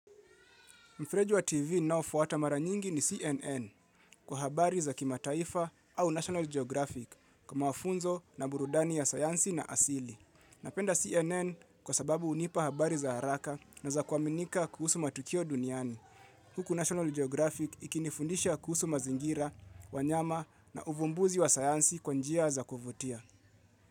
Mfreji TV na ufuata mara nyingi ni CNN kwa habari za kimataifa au National Geographic kwa wafunzo na burudani ya sayansi na asili. Napenda CNN kwa sababu unipa habari za haraka na za kuaminika kuhusu matukio duniani. Huku National Geographic ikinifundisha kuhusu mazingira, wanyama na uvumbuzi wa sayansi kwa njia za kuvutia.